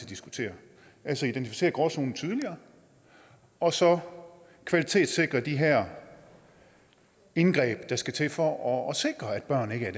diskutere altså identificere gråzonen tydeligere og så kvalitetssikre de her indgreb der skal til for at sikre at børn ikke er